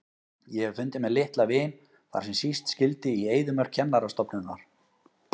Ég hef fundið mér litla vin þar sem síst skyldi, í eyðimörk kennarastofunnar.